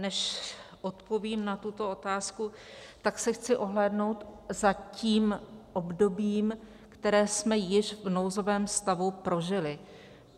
Než odpovím na tuto otázku, tak se chci ohlédnout za tím obdobím, které jsme již v nouzovém stavu prožili.